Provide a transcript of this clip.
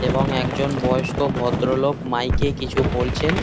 এবং একজন বয়স্ক ভদ্রলোক মাইক এ কিছু বলছেন।